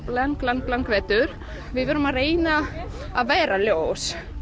langan vetur við erum að reyna að vera ljós